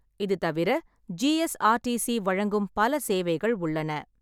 இது தவிர, ஜி.எஸ்.ஆர்.டி.சி வழங்கும் பல சேவைகள் உள்ளன.